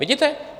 Vidíte?